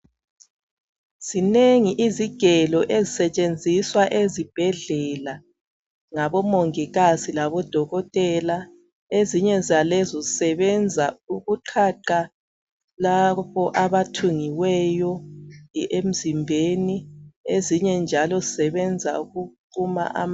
Zinengi izigelo ezisetshenziswa ezibhedlela ngabomomgikazi labodokotela ezinye zalezo zisebenza ukuqhaqha labo abathungiweyo emzimbeni ezinye njalo zisebenza ukuquma ama.